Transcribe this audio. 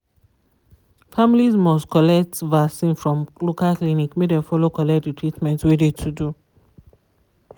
families must collect vaccin from local clinic make dem follow collect de treatment wey de to do.